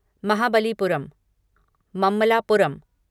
Mahabalipuram Mamallapuram